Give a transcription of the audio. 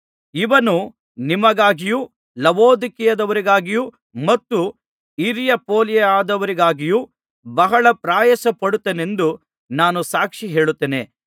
ಇವನು ನಿಮಗಾಗಿಯೂ ಲವೊದಿಕೀಯದವರಿಗಾಗಿಯೂ ಮತ್ತು ಹಿರಿಯಾಪೋಲಿಯದವರಿಗಾಗಿಯೂ ಬಹಳ ಪ್ರಯಾಸ ಪಡುತ್ತಾನೆಂದು ನಾನು ಸಾಕ್ಷಿಹೇಳುತ್ತೇನೆ